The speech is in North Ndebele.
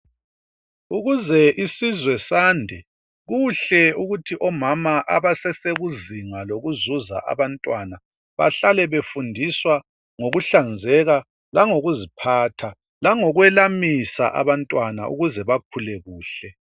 Ukuze isizwe sande kuhle ukuthi omama abasesekuzinga lokuzuza abantwana bahlale befundiswa ngokuhlanzeka langokuziphatha, langokwelamisa abantwana ukuze bakhule kuhle.